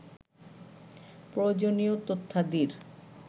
প্রয়োজনীয় তথ্যাদির